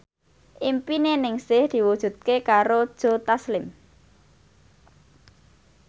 impine Ningsih diwujudke karo Joe Taslim